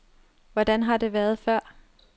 Hvordan har det været før?